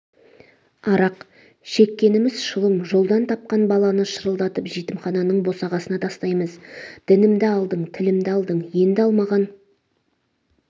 арақ шеккеніміз шылым жолдан тапқан баланы шырылдатып жетімхананың босағасына тастаймыз дінімді алдың тілімді алдың енді алмаған